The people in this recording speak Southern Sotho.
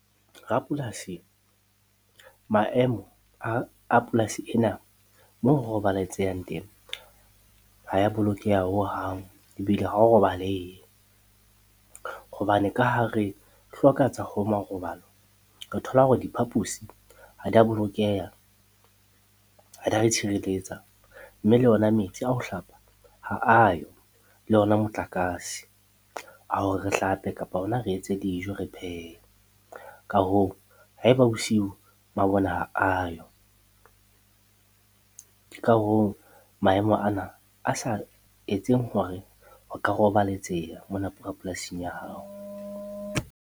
Rapolasi, maemo a polasi ena moo ho roballatsehang teng ha ya bolokeha hohang ebile hao roballehe hobane ka ha re hloka tsa marobalo, re thola hore diphaposi ha di a bolokeha, ha di a re tshirelletsa mme le ona metsi a ho hlapa ha a yo le ona motlakase, a hore re hlape kapa hona re etse dijo, re phehe. Ka hoo, haeba bosiu mabone ha a yo ke ka hoo maemo ana a sa etseng hore ho ka roballatseha mona polasing ya hao.